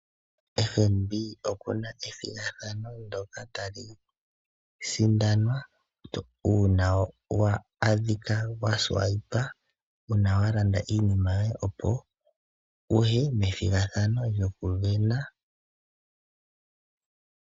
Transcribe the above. FNB okuna ethigathano ndoka tali sindanwa uuna wa adhika walanda iinima yoye opo wuye methigathano lyokusindana.